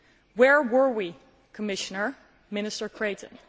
Where were we, Commissioner, Minister Creighton?